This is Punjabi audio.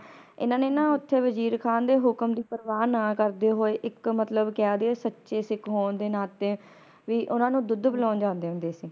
ਇਹਨਾਂ ਨੇ ਨਾ ਓਥੇ ਵਜ਼ੀਰ ਖਾਂ ਦੇ ਹੁਕਮ ਦੀ ਪ੍ਰਵਾਹ ਨਾ ਕਰਦੇ ਹੋਏ ਇੱਕ ਮਤਲਬ ਕਹਿ ਦਈਏ ਸੱਚੇ ਸਿੱਖ ਹੋਣ ਦੇ ਨਾਤੇ ਵੀ ਓਹਨਾ ਨੂੰ ਦੁੱਧ ਪਿਲਾਉਣ ਜਾਂਦੇ ਹੁੰਦੇ ਸੀ